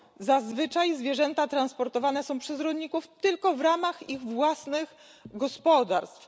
Zazwyczaj zwierzęta transportowane są przez rolników tylko w ramach ich własnych gospodarstw.